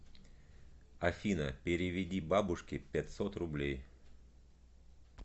афина переведи бабушке пятьсот рублей